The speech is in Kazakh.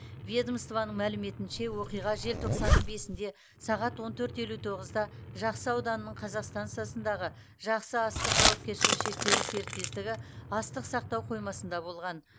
ведомствоның мәліметінше оқиға желтоқсанның бесінде сағат он төрт елу тоғызда жақсы ауданының казақ стансасындағы жақсы астық жауапкершілігі шектеулі серіктестігі астық сақтау қоймасында болған